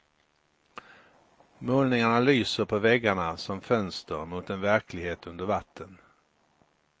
Målningarna lyser på väggarna som fönster mot en verklighet under vatten.